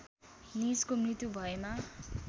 निजको मृत्यु भएमा